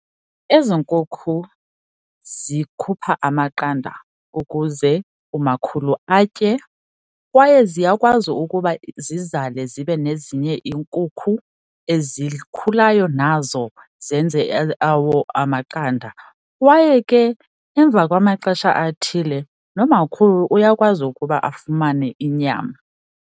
Ezi nkukhu zikhupha amaqanda ukuze umakhulu atye kwaye ziyakwazi ukuba zizale zibe nezinye iinkukhu ezikhulayo nazo zenze awawo amaqanda. Kwaye ke emva kwamaxesha athile nomakhulu uyakwazi ukuba afumane inyama.